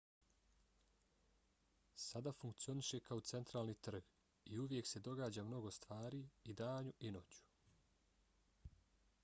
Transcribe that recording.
sada funkcioniše kao centralni trg i uvijek se događa mnogo stvari i danju i noću